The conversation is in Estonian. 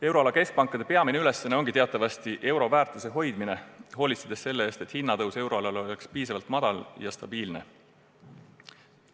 Euroala keskpankade peamine ülesanne ongi teatavasti euro väärtuse hoidmine, hoolitsedes selle eest, et hinnatõus oleks euroalal piisavalt väike ja stabiilne.